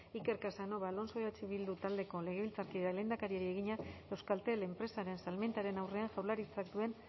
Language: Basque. iker casanova alonso eh bildu taldeko legebiltzarkideak lehendakariari egina euskaltel enpresaren salmentaren aurrean jaurlaritzak duen